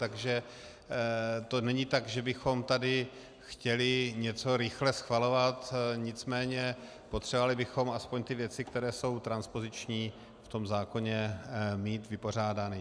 Takže to není tak, že bychom tady chtěli něco rychle schvalovat, nicméně potřebovali bychom aspoň ty věci, které jsou transpoziční, v tom zákoně mít vypořádány.